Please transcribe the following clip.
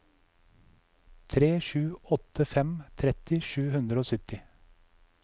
tre sju åtte fem tretti sju hundre og sytti